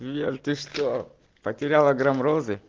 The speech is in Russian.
лер ты что потеряла грамм розы